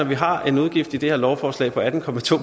vi har en udgift i det her lovforslag på atten